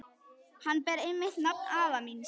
Hann ber einmitt nafn afa míns.